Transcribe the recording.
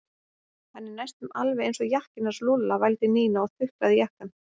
Hann er næstum alveg eins og jakkinn hans Lúlla vældi Nína og þuklaði jakkann.